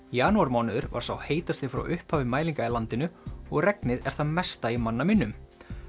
janúarmánuður var sá heitasti frá upphafi mælinga í landinu og regnið er það mesta í manna minnum